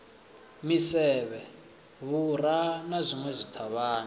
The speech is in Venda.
misevhe vhura na zwinwe zwithavhani